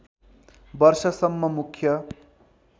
वर्षसम्म मुख्य